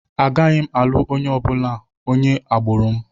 Agaghị m alụ onye na-abụghị onye agbụrụ m.